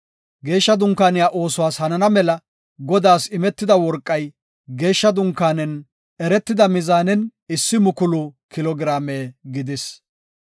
Geeshsha dunkaaniya oosuwas hanana mela Godaas imetida worqay geeshsha dunkaanen eretida mizaanen issi mukulu kilo giraame gidis.